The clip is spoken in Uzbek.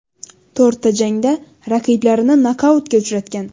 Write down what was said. To‘rtta jangda raqiblarini nokautga uchratgan.